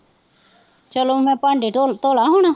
ਚਲੋ ਮੈਂ ਭਾਂਡੇ ਢੋਲ ਧੋਲਾ ਹੁਣ